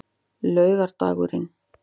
laugardagurinn